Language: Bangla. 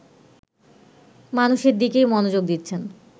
মানুষের দিকেই মনোযোগ দিচ্ছেন